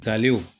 Daliw